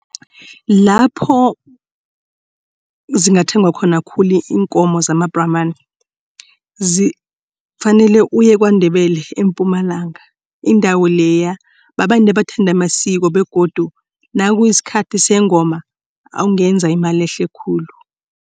Lapho zingathengwa khona khulu iinkomo zamabhramani kufanele uye kwaNdebele eMpumalanga. Indawo leya babantu abathanda amasiko begodu nakusikhathi sengoma ungenza imali ehle khulu.